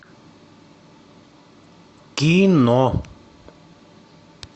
кино